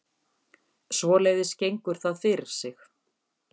Svoleiðis gengur það fyrir sig